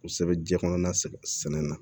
Kosɛbɛ ji kɔnɔna sɛgɛn na